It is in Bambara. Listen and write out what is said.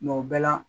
o bɛɛ la